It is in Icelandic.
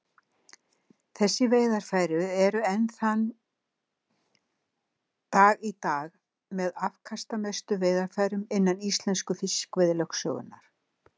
Þessi veiðarfæri eru enn þann dag í dag með afkastamestu veiðarfærum innan íslensku fiskveiðilögsögunnar.